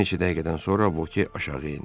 Bir neçə dəqiqədən sonra Voke aşağı indi.